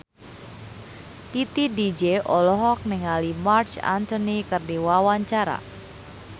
Titi DJ olohok ningali Marc Anthony keur diwawancara